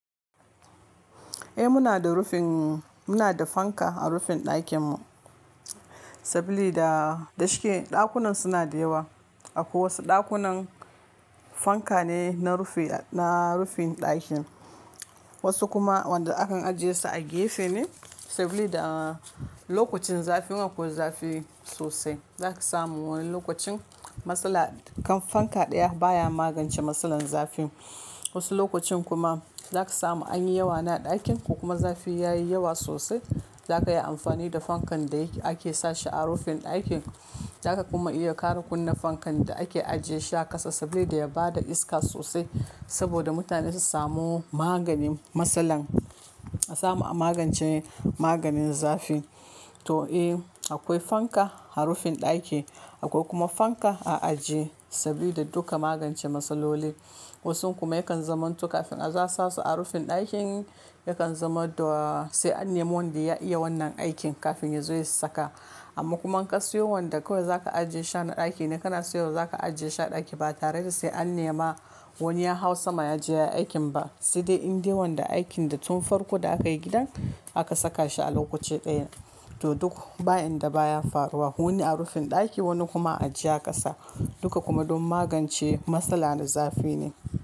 Eh muna da rufin, muna da fanka a rufin ɗakin mu. Sabili da dashi ke ɗakunan suna da yawa. Akwai wasu ɗakunan, fanka ne na rufi, na rufin ɗakin. Wasu kuma wanda akan ajiye su a gefe ne, sabili da lokacin zafi. In akwai zafi sosai zaka samu wani lokacin, matsala, kan fanka ɗaya baya magance matsalar zafi. Wasu lokacin kuma, zaka samu anyi yawa ne a ɗakin ko kuma zafi yayi yawa sosai. Zaka yi amfani da fankan da ake sashi a rufin ɗakin. Zaka kuma iya ƙara kunna fankan da ake ajiye shi a ƙasa sabili da ya bada iska sosai. Saboda mutane su samu maganin matsalar. A samu a magance maganin zafi. To eh, akwai fanka a rufin ɗaki, akwai kuma fanka a ajiye. Saboda duka magance matsaloli. Wasun kuma yakan zaman to kafin a zo a sasu a rufin ɗakin. Yakan zama to sai an nemi wanda ya iya wannan aikin kafin ya zo ya saka. Amma kuma in ka siyo wanda kawai zaka ajiye shi a ɗaki ne, kana siyo wa zaka ajiye shi a ɗaki ba tare da sai an nema wani ya hau sama ya je yayi aikin ba. Sai dai in dai wanda aikin da tun farko da aka yi gidan aka saka shi a lokaci ɗaya. To duk bayin da baya faruwa wani a rufin ɗaki wani kuma ajiye a ƙasa. Duka kuma don magance matsala na zafi ne.